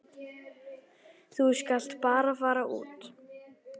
Þú skalt bara fara út.